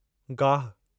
गाहु